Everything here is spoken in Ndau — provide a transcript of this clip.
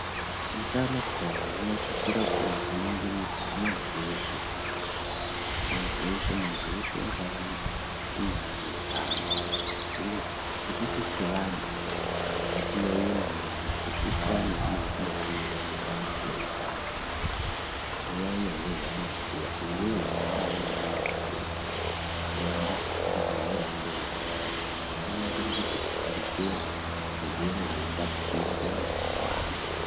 Utano pee hunosisIra kuningirirwa kumuntu weshe muntu weshe muntu weshe unofano kunge ane utano hino isusu sevantu ngatiyaiye maningi ngatipurutane kune zvetinobhiirwa ngebandiko reutano toyaiya zveshe zvaanobhuya iwewe ukaona une dambudziko enda kuchibhedhlera undoonekwa zvakanakire kuti tisaregera zvirwere zveitapukira kuvantu vakawanda.